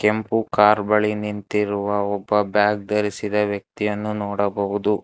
ಕೆಂಪು ಕಾರ್ ಬಳಿ ನಿಂತಿರುವ ಒಬ್ಬ ಬ್ಯಾಗ ಧರಿಸಿದ ವ್ಯಕ್ತಿಯನ್ನು ನೋಡಬಹುದು.